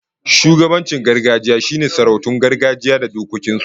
Shugabancin gargajiya shine sarautun gargajiya da dokokin su